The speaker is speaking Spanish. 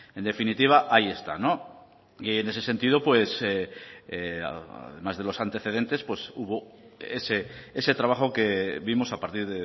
en definitiva ahí está y en ese sentido además de los antecedentes hubo ese trabajo que vimos a partir